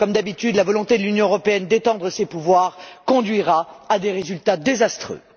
Comme d'habitude, la volonté de l'Union européenne d'étendre ses pouvoirs conduira à des résultats désastreux.